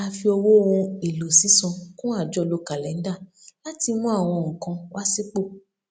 a fi owó ohun èlò sísan kún àjọlò kàlẹndà láti mú àwọn nnkan wá sípò